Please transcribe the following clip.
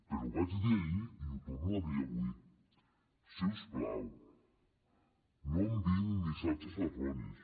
però ho vaig dir ahir i ho torno a dir avui si us plau no enviïn missatges erronis